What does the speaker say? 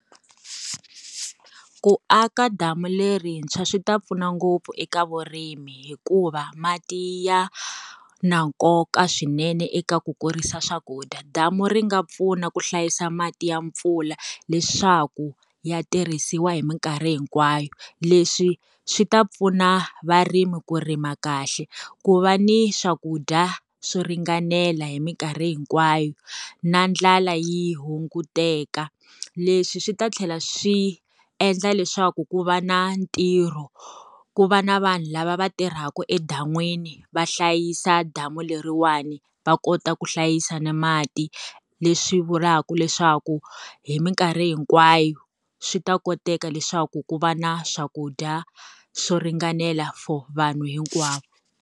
Ku aka damu lerintshwa swi ta pfuna ngopfu eka vurimi hikuva mati ya, na nkoka swinene eka ku kurisa swakudya. Damu ri nga pfuna ku hlayisa mati ya mpfula, leswaku ya tirhisiwa hi minkarhi hinkwayo. Leswi swi ta pfuna varimi ku rima kahle, ku va ni swakudya swo ringanela hi minkarhi hinkwayo, na ndlala yi hunguteka. Leswi swi ta tlhela swi endla leswaku ku va na ntirho, ku va na vanhu lava va tirhaka edan'wini va hlayisa damu leriwani, va kota ku hlayisa na mati. Leswi vulaka leswaku, hi minkarhi hinkwayo, swi ta koteka leswaku ku va na swakudya swo ringanela for vanhu hinkwavo.